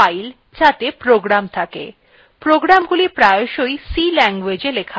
প্রকৃতপক্ষে commandsগুলি হল files যাতে programs থাকে programsগুলি প্রায়শই c languagee লেখা হয়